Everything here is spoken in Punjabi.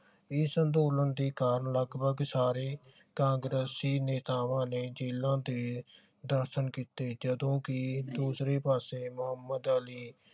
ਇਸ ਅੰਦੋਲਨ ਦੇ ਕਾਰਨ ਲਗਭਗ ਸਾਰੇ ਕਾਂਗਰੇਸੀ ਨੇਤਾਵਾਂ ਨੇ ਜੇਲਾਂ ਦੀ ਦਰਸ਼ਨ ਕੀਤੇ ਜਦੋਂ ਕਿ ਦੂਸਰੇ ਪਾਸੇ ਮੁਹਮਦ ਅਲੀ